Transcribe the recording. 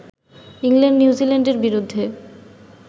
England নিউজিল্যান্ডের বিরুদ্ধে